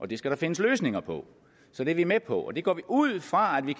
det skal der findes løsninger på så det er vi med på og det går vi ud fra at vi